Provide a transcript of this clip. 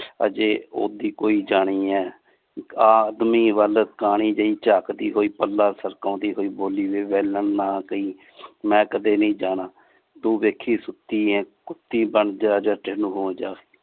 ਅਜੇ ਓਹਦੀ ਕੋਈ ਜਾਣੀ ਹੈ ਆਦਮੀ ਵੱਲ ਕਾਣੀ ਜੇਇ ਚਾਕਦੀ ਹੋਇ ਪਲਾ ਹੋਇ ਸਰਕੌਂਦੀ ਹੋਇ ਬੋਲੀ ਵੇ ਵੇਲਣ ਨਾਂ ਕਈ ਮੈਂ ਕਦੇ ਨੀ ਜਾਣਾ ਤੂੰ ਵੇਖੀ ਸੁਤੀ ਆ ਕੁਤੀ ਬਣ ਜਾ